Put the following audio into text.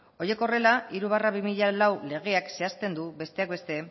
horiek horrela hiru barra bi mila lau legeak zehazten du besteak beste